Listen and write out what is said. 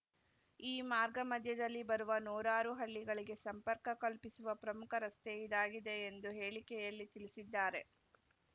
ಈ ಮಾರ್ಗ ಮಧ್ಯದಲ್ಲಿ ಬರುವ ನೂರಾರು ಹಳ್ಳಿಗಳಿಗೆ ಸಂಪರ್ಕ ಕಲ್ಪಿಸುವ ಪ್ರಮುಖ ರಸ್ತೆ ಇದಾಗಿದೆ ಎಂದು ಹೇಳಿಕೆಯಲ್ಲಿ ತಿಳಿಸಿದ್ದಾರೆ